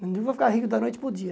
vai ficar rico da noite para o dia.